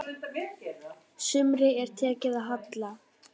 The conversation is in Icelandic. Sumri er tekið að halla.